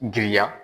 Giriya